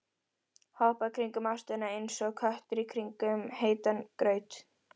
Hoppa kringum ástina einsog köttur í kringum heitan graut.